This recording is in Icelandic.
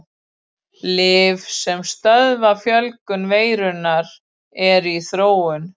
Lyf sem stöðva fjölgun veirunnar eru í þróun.